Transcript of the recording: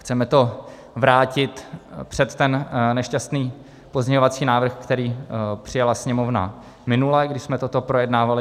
Chceme to vrátit před ten nešťastný pozměňovací návrh, který přijala Sněmovna minule, když jsme toto projednávali.